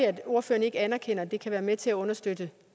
at ordføreren ikke anerkender at det her kan være med til at understøtte